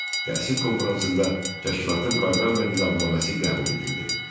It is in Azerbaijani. Təsis konfransında təşkilatın proqram və nizamnaməsi qəbul edildi.